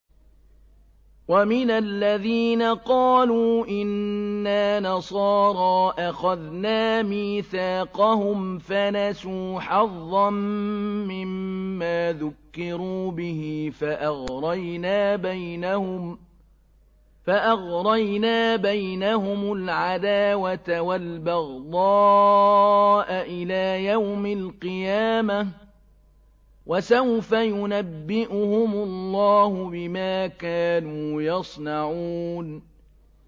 وَمِنَ الَّذِينَ قَالُوا إِنَّا نَصَارَىٰ أَخَذْنَا مِيثَاقَهُمْ فَنَسُوا حَظًّا مِّمَّا ذُكِّرُوا بِهِ فَأَغْرَيْنَا بَيْنَهُمُ الْعَدَاوَةَ وَالْبَغْضَاءَ إِلَىٰ يَوْمِ الْقِيَامَةِ ۚ وَسَوْفَ يُنَبِّئُهُمُ اللَّهُ بِمَا كَانُوا يَصْنَعُونَ